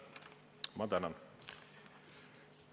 Ma tänan!